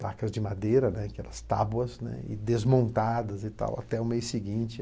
Tacas de madeira, né, tabuas, desmontadas até o mês seguinte.